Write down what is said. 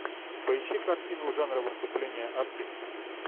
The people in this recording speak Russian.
поищи картину жанра выступление артиста